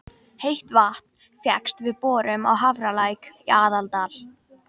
Heitt vatn fékkst við borun á Hafralæk í Aðaldal.